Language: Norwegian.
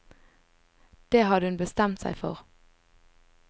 Det hadde hun bestemt seg for.